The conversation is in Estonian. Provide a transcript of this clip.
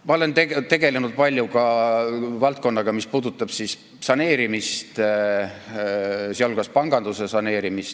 Ma olen tegelenud palju ka valdkonnaga, mis puudutab saneerimist, sh panganduse saneerimist.